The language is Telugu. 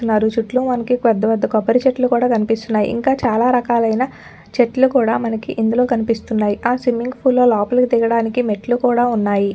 ఉన్నారు చుట్టూ మనకి పెద్ద పెద్ద కొబ్బరి చెట్లు కూడా కనిపిస్తున్నాయి. ఇంకా చాలా రకాలైన చెట్లు కూడా మనకి ఇందులో కనిపిస్తున్నాయి. ఆ స్విమ్మింగ్ పూల్ లో లోపలకి దిగడానికి మెట్లు కూడా ఉన్నాయి.